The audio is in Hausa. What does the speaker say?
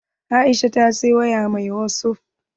Aisha ta siyi waya mai wasup